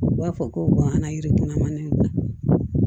U b'a fɔ ko gan yirikana manani dilan